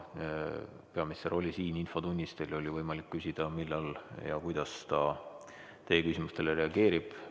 Peaminister oli siin infotunnis, teil oli võimalik küsida, millal ja kuidas ta teie küsimustele reageerib.